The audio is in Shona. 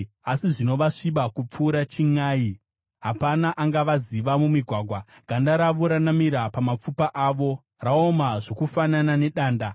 Asi zvino vasviba kupfuura chinʼai; hapana angavaziva mumigwagwa. Ganda ravo ranamira pamapfupa avo; raoma zvokufanana nedanda.